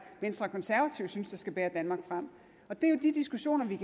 venstre og konservative synes der skal bære danmark frem det er jo de diskussioner vi